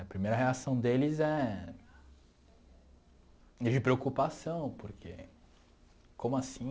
A primeira reação deles é de preocupação, porque como assim